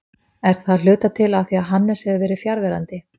Er það af hluta til af því að Hannes hefur verið fjarverandi?